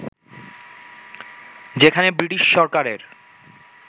যেখানে ব্রিটিশ সরকারের